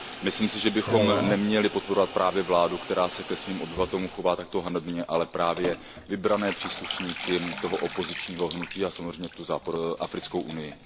Myslím si, že bychom neměli podporovat právě vládu, která se ke svým obyvatelům chová takto hanebně, ale právě vybrané příslušníky toho opozičního hnutí a samozřejmě Západoafrickou unii.